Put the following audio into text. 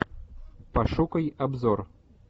пошукай обзор